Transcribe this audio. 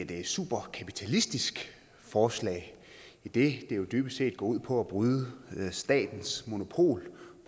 det er et super kapitalistisk forslag idet det jo dybest set går ud på at bryde statens monopol